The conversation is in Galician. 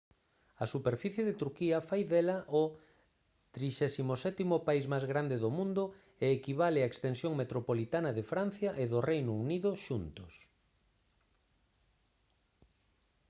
a superficie de turquía fai dela o 37.º país máis grande do mundo e equivale á extensión metropolitana de francia e do reino unido xuntos